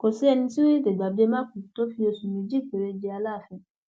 kò sẹni tí yóò tètè gbàgbé mákúù tó fi oṣù méjì péré jẹ aláàfin